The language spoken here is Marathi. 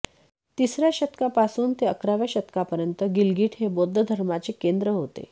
तिसर्या शतकापासून ते अकराव्या शतकापर्यंत गिलगिट हे बौद्ध धर्माचे केंद्र होते